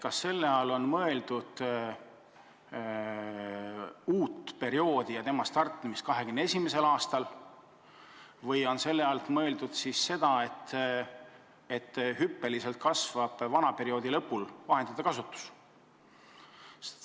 Kas selle all on mõeldud uue perioodi startimist 2021. aastal või on mõeldud seda, et vana perioodi lõpul kasvab hüppeliselt vahendite kasutus?